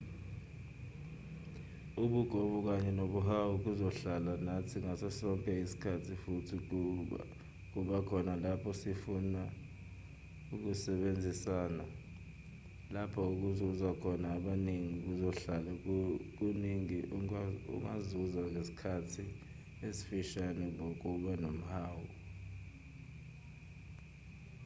ubugovu kanye nomhawu kuzohlala nathi ngaso sonke isikhathi futhi kuba khona lapho sifuna ukusebenzisana lapho kuzuza khona abaningi kuzohlale kunokuningi ongakuzuza ngesikhathi esifushane ngokuba nomhawu